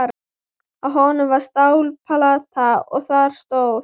Á honum var stálplata og þar stóð: